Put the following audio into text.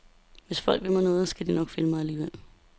Hvis folk vil mig noget, skal de nok finde mig alligevel.